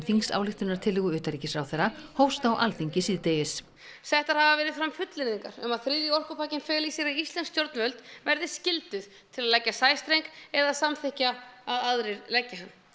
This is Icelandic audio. þingsályktunartillögu utanríkisráðherra hófst á Alþingi síðdegis settar hafa verið fram fullyrðingar um að þriðji orkupakkinn feli í sér að íslensk stjórnvöld verði skyldug til að leggja sæstreng eða samþykkja að aðrir leggi hann